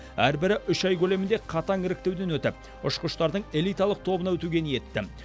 әрбірі үш ай көлемінде қатаң іріктеуден өтіп ұшқыштардың элиталық тобына өтуге ниетті